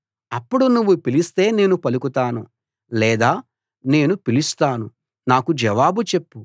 అప్పుడు నువ్వు పిలిస్తే నేను పలుకుతాను లేదా నేను పిలుస్తాను నాకు జవాబు చెప్పు